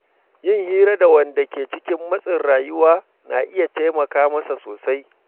Yin hira da wanda ke cikin matsin rayuwa na iya taimaka masa sosai.